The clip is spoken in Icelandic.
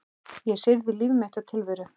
Ég syrgði líf mitt og tilveru.